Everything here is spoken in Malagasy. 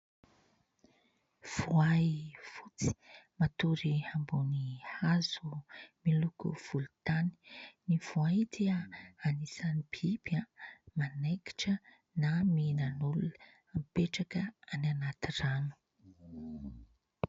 Voay fotsy matory ambony hazo miloko volontany. Ny voay dia anisan'ny biby manaikitra na mihinan'olona mipetraka any anaty rano.